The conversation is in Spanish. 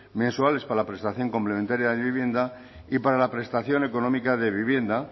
mensuales para la prestación complementaria de vivienda y para la prestación económica de vivienda